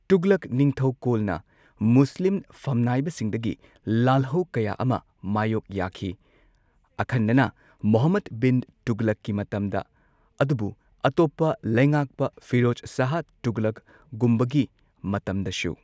ꯇꯨꯘꯂꯛ ꯅꯤꯡꯊꯧꯀꯣꯜꯅ ꯃꯨꯁꯂꯤꯝ ꯐꯝꯅꯥꯏꯕꯁꯤꯡꯗꯒꯤ ꯂꯥꯜꯍꯧ ꯀꯌꯥ ꯑꯃ ꯃꯥꯌꯣꯛ ꯌꯥꯈꯤ꯫ ꯑꯈꯟꯅꯅ ꯃꯨꯍꯝꯃꯗ ꯕꯤꯟ ꯇꯨꯘꯂꯛꯀꯤ ꯃꯇꯝꯗ ꯑꯗꯨꯕꯨ ꯑꯇꯣꯞꯄ ꯂꯩꯉꯥꯛꯄ ꯐꯤꯔꯣꯖ ꯁꯥꯍ ꯇꯨꯘꯂꯛꯒꯨꯝꯕꯒꯤ ꯃꯇꯝꯗꯁꯨ꯫